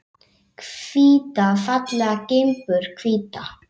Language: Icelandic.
Hvíta fallega gimbur, hvíta.